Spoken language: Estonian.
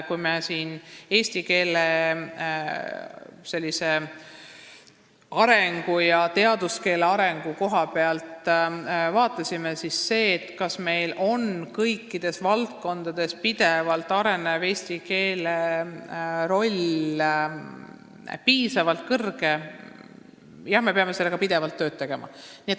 Kui me analüüsisime eesti keele ja teaduskeele arengut sellest aspektist, kas meil on kõikides valdkondades eesti keele roll piisavalt suur, siis jah, tunnistan, me peame sellega tööd tegema.